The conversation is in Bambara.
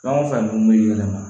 Fɛn o fɛn dun bɛ yɛlɛma